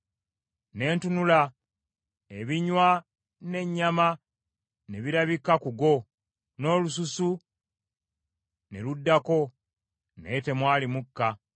Ne ntunula, ebinywa n’ennyama ne birabika ku go, n’olususu ne luddako, naye temwali mukka.